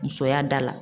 Musoya da la